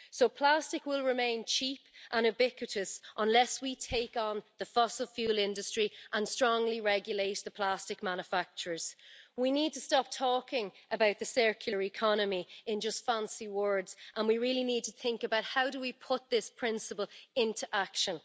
So plastic will remain cheap and ubiquitous, unless we take on the fossil fuel industry and strongly regulate the plastic manufacturers. We need to stop talking about the circular economy in just fancy words, and we really need to think about how we put this principle into action.